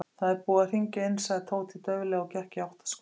Það er búið að hringja inn sagði Tóti dauflega og gekk í átt að skólanum.